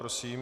Prosím.